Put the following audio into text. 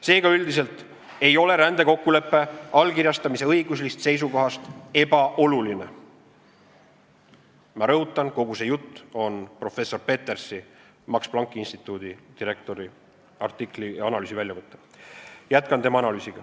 Seega üldiselt ei ole rändekokkuleppe allkirjastamine õiguslikust seisukohast ebaoluline.